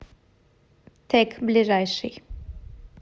тэк ближайший